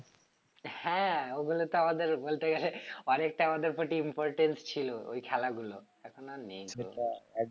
হ্যাঁ ওগুলো তো আমাদের বলতে গেলে অনেকটা আমাদের প্রতি importance ছিল ওই খেলা গুলো এখন আর নেই